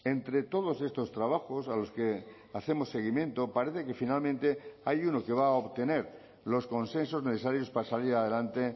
entre todos estos trabajos a los que hacemos seguimiento parece que finalmente hay uno que va a obtener los consensos necesarios para salir adelante